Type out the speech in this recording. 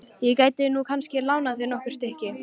Ég gæti nú kannski lánað þér nokkur stykki.